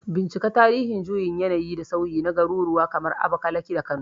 Bincika tarihin juyin yanayi da sauyi na garuruwa kamar Abakalaki da Kano